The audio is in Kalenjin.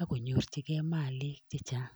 ak konyorchigei maalik chechang.